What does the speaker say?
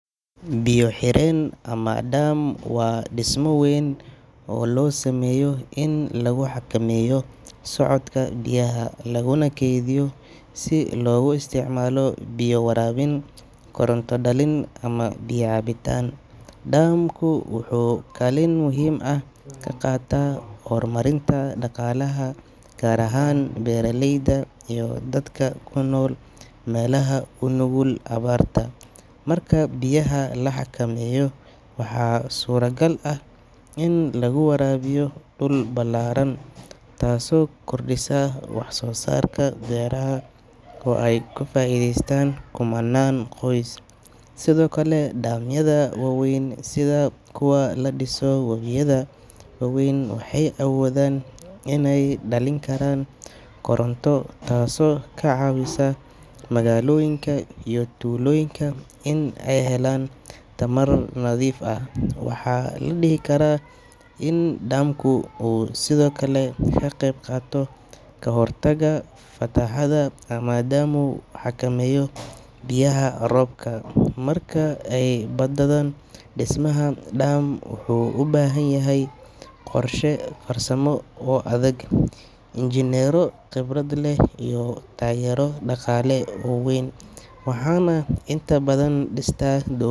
Biya xereen amah daan wa disma weyn oo lo sameeyoh in lagu xakameeyoh socotka biyah Laguna keethiyoh si lagu isticmalaha biya warabin coronta dalin amah biya daan, daan ku waxukalin muhim aah kaqathan hormarinta daqalah gaar ahaan beeraleyda dadka kunool meelaha kunukul awaarta , marka biyah laxakameeyoh waxay suragal aah ini laguwarabiyoh dulka iyo woweyada ogeen awoodan inay dalinkaran koronto taaso kacawisoh magaloyinga iyo tooloyinga Ina ay helan tarmar nathif waxaladikarah in dambku sethokali kaqabqatoh kahortaga madam xageemoh qorsha farsamo oo adeg inkasto ingeeneero qebarda leeh iyo tageero daqala leeh oo weyn waxna intabathan distaa dooma .